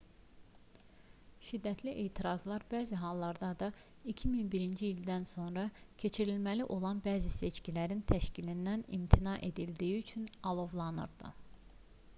şiddətli etirazlar bəzi hallarda da 2011-ci ildən sonra keçirilməli olan bəzi seçkilərin təşkilindən imtina edildiyi üçün alovlanırdı